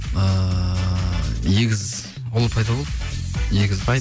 ыыы егіз ұл пайда болды егіз